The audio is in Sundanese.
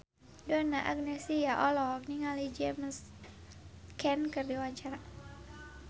Donna Agnesia olohok ningali James Caan keur diwawancara